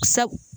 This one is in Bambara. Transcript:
Sɛ